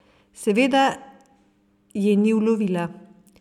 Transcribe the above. Seveda je ni ulovila.